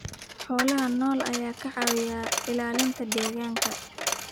Xoolaha nool ayaa ka caawiya ilaalinta deegaanka.